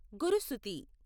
గురుసుతి